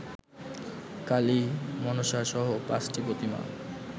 কালি, মনষাসহ ৫টি প্রতীমা